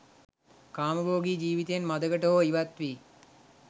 කාමභෝගි ජීවිතයෙන් මඳකට හෝ ඉවත්වී